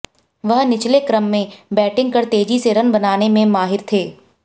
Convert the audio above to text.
वह निचले क्रम में बैटिंग कर तेजी से रन बनाने में माहिर थे